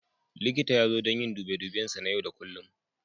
Likita ya zo don yin dube duben sa na yau da kullum.